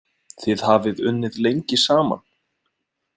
Þið hafið unnið lengi saman?